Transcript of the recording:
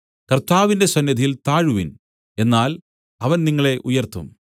കർത്താവിന്റെ സന്നിധിയിൽ താഴുവിൻ എന്നാൽ അവൻ നിങ്ങളെ ഉയർത്തും